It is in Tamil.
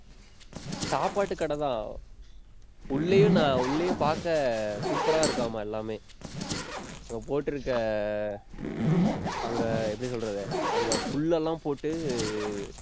சாப்பாட்டு கடை தான். உள்ளேயும் நான் உள்ளேயும் பார்க்க, super ஆ இருக்காமாம் எல்லாமே நம்ம போட்டுருக்க, அங்க எப்படி சொல்றது? அங்க புல்லெல்லாம் போட்டு,